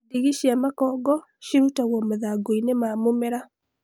Ndigi cia makongo cirutagwo mathangu-inĩ ma mũmera